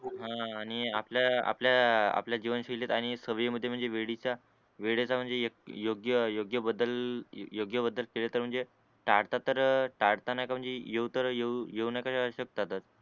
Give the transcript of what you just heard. हान आणि आपल्या आपल्या आपल्या जीवन शैलीत आणि सवई मद्ये म्हणजे वेडी चा वेळेचा म्हणजे योग्य योग्य बदल योग्य बदलकेला तर म्हणजे